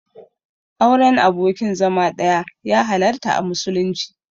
Auren abokin zama ɗaya ya halarta a musulunci.